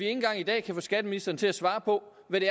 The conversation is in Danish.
engang i dag kan få skatteministeren til at svare på hvad det